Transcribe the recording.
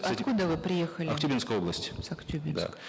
откуда вы приехали актюбинская область с актюбинска